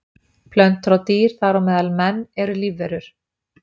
Plöntur og dýr, þar á meðal menn, eru lífverur.